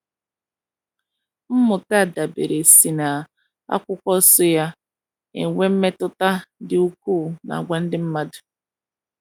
Mmụta a dabeere si na akwụkwo nsọ na - enwe mmetụta dị ukwuu n’àgwà ndị mmadụ.